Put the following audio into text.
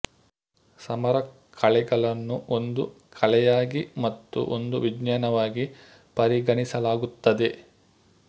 ಸಮರ ಕಲೆಗಳನ್ನು ಒಂದು ಕಲೆಯಾಗಿ ಮತ್ತು ಒಂದು ವಿಜ್ಞಾನವಾಗಿ ಪರಿಗಣಿಸಲಾಗುತ್ತದೆ